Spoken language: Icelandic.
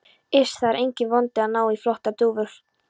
Iss. það er enginn vandi að ná í flottar dúfur.